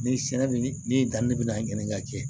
Ni sɛnɛ bɛ nin dan ne bɛ na ɲininkali kɛ